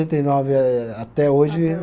e nove eh até hoje